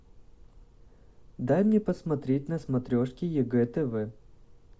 дай мне посмотреть на смотрешке егэ тв